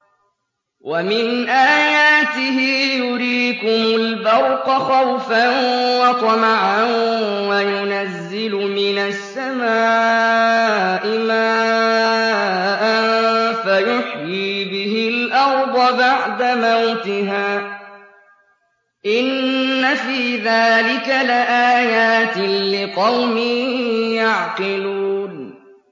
وَمِنْ آيَاتِهِ يُرِيكُمُ الْبَرْقَ خَوْفًا وَطَمَعًا وَيُنَزِّلُ مِنَ السَّمَاءِ مَاءً فَيُحْيِي بِهِ الْأَرْضَ بَعْدَ مَوْتِهَا ۚ إِنَّ فِي ذَٰلِكَ لَآيَاتٍ لِّقَوْمٍ يَعْقِلُونَ